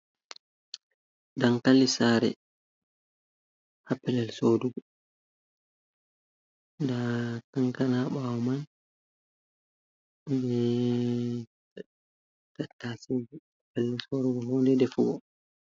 Dankali sare ha pellel sodugo da tankana bawo man be tatai ha pellel sorugo honɗe ɗefugo.